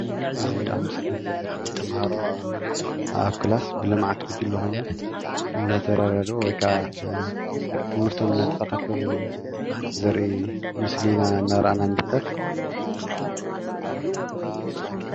እዚ ኣብ ምስሊ እንሪኦ ዘለና ተምሃሮ ኣብ ክላስ ብልምዓት ጉጅለ ኮይኖም እናተረዳድኡ ወይክዓ ትምህርቶም እናተከታተሉ ዘርኢ ምስሊ ኢና እናረኣና ንርከብ፡፡